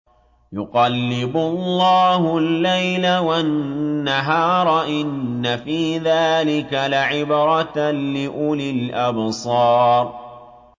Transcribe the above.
يُقَلِّبُ اللَّهُ اللَّيْلَ وَالنَّهَارَ ۚ إِنَّ فِي ذَٰلِكَ لَعِبْرَةً لِّأُولِي الْأَبْصَارِ